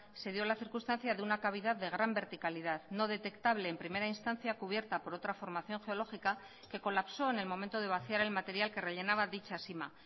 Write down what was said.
se dio la circunstancia de una cavidad de gran verticalidad no detectable en primera instancia cubierta por otra formación geológica que colapsó en el momento de vaciar el material que rellenaba dicha sima